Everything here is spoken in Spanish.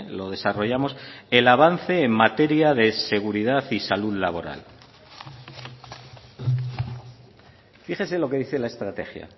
lo desarrollamos el avance en materia de seguridad y salud laboral fíjese lo que dice la estrategia